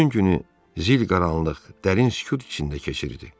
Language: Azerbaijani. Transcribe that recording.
Bütün günü zil qaranlıq, dərin sükut içində keçirdi.